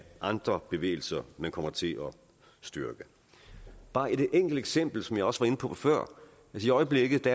andre bevægelser man kommer til at styrke bare et enkelt eksempel som jeg også var inde på før i øjeblikket